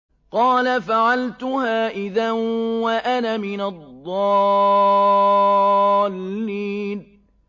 قَالَ فَعَلْتُهَا إِذًا وَأَنَا مِنَ الضَّالِّينَ